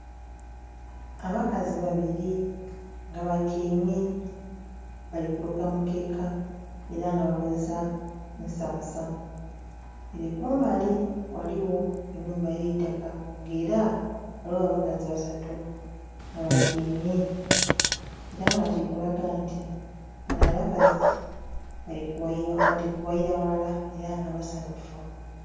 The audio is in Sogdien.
Abakazi babiri nga batyaime bali kuluka mukeka era nga bakozesa nsansa. Ere kumbali ghaligho ennhumba y'eitaka nga era ghaligho abakazi basatu nga batyaime era nga kiri kulaga nti bano abakazi bali kughayira ghalala era nga basanhufu.